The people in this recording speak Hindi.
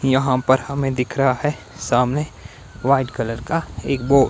यहां पर हमें दिख रहा है सामने वाइट कलर का एक बो--